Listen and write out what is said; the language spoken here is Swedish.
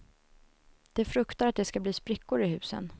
De fruktar att det ska bli sprickor i husen.